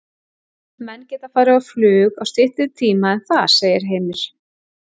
Menn geta farið á flug á styttri tíma en það, segir Heimir.